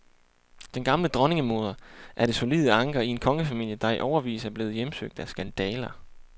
Den gamle dronningemoder er det solide anker i en kongefamilie, der i årevis er blevet hjemsøgt af skandaler.